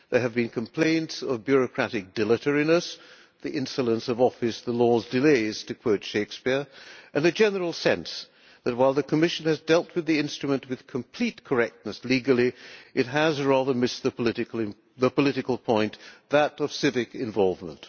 There have been complaints of bureaucratic dilatoriness the insolence of office', the law's delay', to quote Shakespeare and a general sense that while the Commission has dealt with the instrument with complete correctness legally, it has rather missed the political point, that of civic involvement.